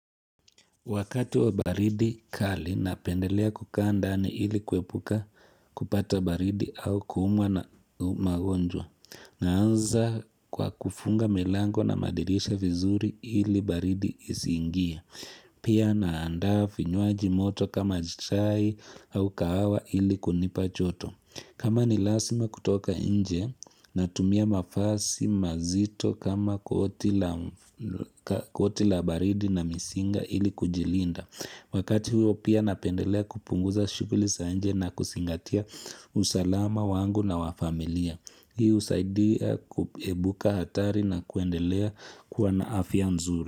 Wakati wa baridi kali, napendelea kukaa ndani ili kwepuka kupata baridi au kumwa na magonjwa. Naanza kwa kufunga milango na madirisha vizuri ili baridi isingie. Pia naandafi vinywaji moto kama chai au kahawa ili kunipa choto. Kama ni lazima kutoka inje natumia mavasi mazito kama koti la baridi na misinga ili kujilinda. Wakati huo pia napendelea kupunguza shukuli sa inje na kusingatia usalama wangu na wafamilia. Hii husaidia kuepuka hatari na kuendelea kuwa na afia nzuri.